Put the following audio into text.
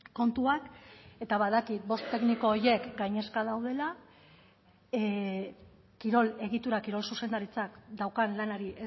kontuak eta badakit bost tekniko horiek gainezka daudela kirol egitura kirol zuzendaritzak daukan lanari